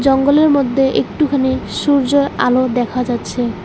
জঙ্গলের মধ্যে একটুখানি সূর্যের আলো দেখা যাচ্ছে।